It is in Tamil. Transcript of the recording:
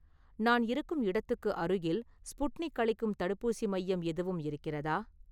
நான் இருக்கும் இடத்துக்கு அருகில் ஸ்புட்னிக் அளிக்கும் தடுப்பூசி மையம் எதுவும் இருக்கிறதா?